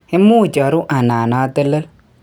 Imuch aru anan atelel